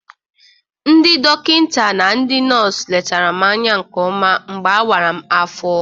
Ndị dọkịnta na ndị nọs letara m anya nke ọma mgbe a wara m afọ.